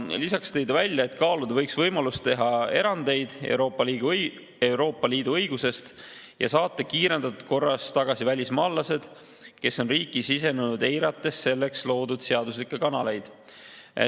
Lisaks tõi Ele Russak välja, et kaaluda võiks võimalust teha erandeid Euroopa Liidu õigusest ja saata kiirendatud korras tagasi välismaalased, kes on riiki sisenenud, eirates selleks loodud seaduslikke kanaleid.